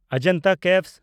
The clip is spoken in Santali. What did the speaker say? ᱚᱡᱚᱱᱛᱟ ᱜᱩᱦᱟ